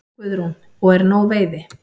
Guðrún: Og er nóg veiði?